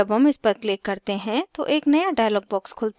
जब हम इस पर click करते हैं तो एक नया dialog box खुलता है